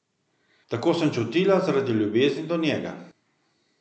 Tako sem čutila zaradi ljubezni do njega.